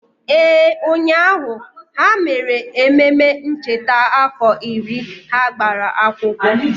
Ee, ụnyahụ, ha mere ememe ncheta afọ iri ha gbara akwụkwọ